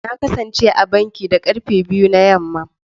Na kasance a banki da karfe biyu na yamma.